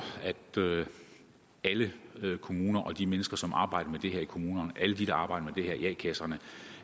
at alle kommuner og de mennesker som arbejder med det her i kommunerne alle dem der arbejder med det her i a kasserne